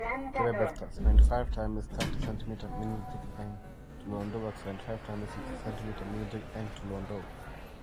Kebeberta: 75 x 30cm minutik eng' tulondok ak 75 x 60cmminutik eng' tulondok.